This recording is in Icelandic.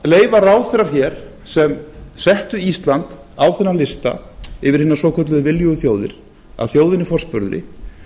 leyfa ráðherrar hér sem settu ísland á þennan lista yfir hinar svokölluðu viljugu þjóðir að þjóðinni forspurðri